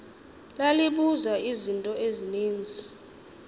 lalibuza izinto ezininzi